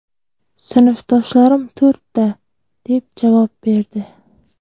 Sinfdoshlarim to‘rtta, deb javob berdi.